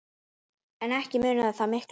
En ekki munaði það miklu.